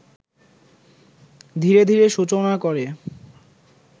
ধীরে ধীরে সূচনা করে